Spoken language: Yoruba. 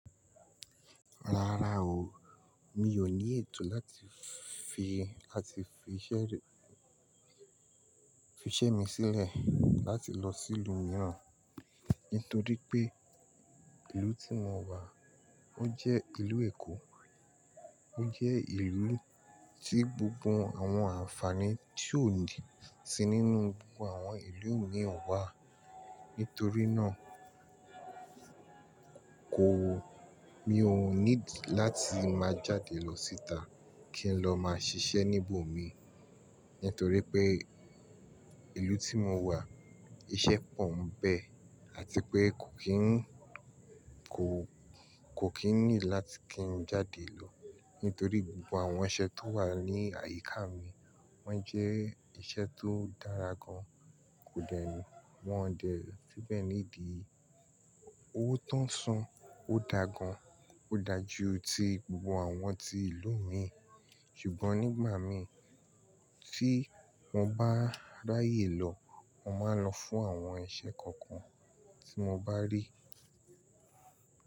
Rárá o, mi ò ní ètò láti fi, láti fi ìṣe, fi ìṣe mi sílẹ̀ láti lọ sí ìlú mìíràn, nítorí pé ìlú tí mo wà ó jẹ́ ìlú Èkó, ó jẹ́ ìlú tí gbogbo àwọn àǹfààní tí ò si nínú gbogbo àwọn ìlú mìí wà. Nítorí náà kò, mi ò need láti máa jáde lọ síta kí n lọ máa ṣiṣẹ́ níbò mi, nítorí pé ìlú tí mo wà iṣẹ́ pọ̀ n bẹ́ àti pé kò kí n, kò, kò kí n need láti kí n jáde lọ, nítorí gbogbo àwọn iṣẹ́ tó wà ní àyíká mi wọ́n jẹ́ iṣẹ́ tó dára gan. Kò dẹ́ni, wọ́n dẹ́ ẹ fíbẹ̀ need i owó tó ń san ó dáa gan, ó dáa ju ti gbogbo àwọn tí ìlú mi. Ṣùgbọ́n nígbà mí tí mo bá ráyè lọ, mo máa n lọ fún àwọn iṣẹ́ kankan tí mo bá rí.